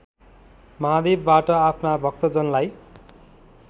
महादेवबाट आफ्ना भक्तजनलाई